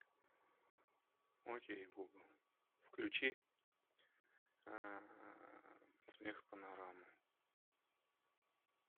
окей гугл включи смехопанораму